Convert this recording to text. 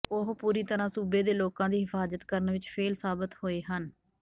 ਉਹ ਪੂਰੀ ਤਰ੍ਹਾਂ ਸੂਬੇ ਦੇ ਲੋਕਾਂ ਦੀ ਹਿਫਾਜਤ ਕਰਨ ਵਿੱਚ ਫੇਲ ਸਾਬਿਤ ਹੋਏ ਹਨ